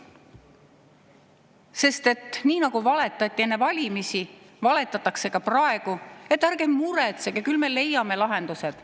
Sest nii nagu valetati enne valimisi, valetatakse ka praegu, et ärge muretsege, küll me leiame lahendused.